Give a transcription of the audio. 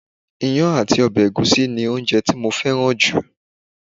Ìyàn àti ọ̀bẹ ẹ̀gúsí ni oúnjẹ tí mo fẹ́ràn jù